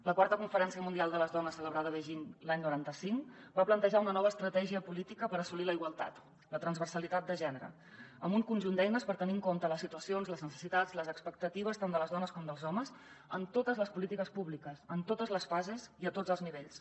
la iv conferència mundial sobre la dona celebrada a beijing l’any noranta cinc va plantejar una nova estratègia política per assolir la igualtat la transversalitat de gènere amb un conjunt d’eines per tenir en compte les situacions les necessitats les expectatives tant de les dones com dels homes en totes les polítiques públiques en totes les fases i a tots els nivells